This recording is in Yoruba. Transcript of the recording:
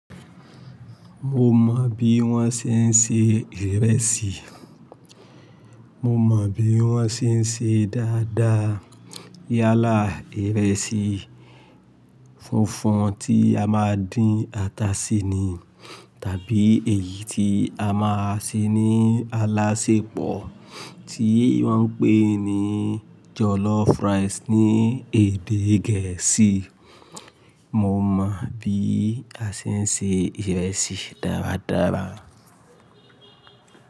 Mo mọ bí wọ́n ṣe ń se ìrẹsì. Mo mọ bí wọ́n ṣe ń ṣe dáa dáa. Yálà ìrẹsì funfun tí a máa ń dín ata sí ni, tàbí èyí tí a máa ń ṣe ní alásèpọ̀ tí wọ́n ń pè ní jollof rice ní èdè Gẹ̀ẹ́sì. Mo mọ bí a ṣe ń ṣe ìrẹsì dára dára.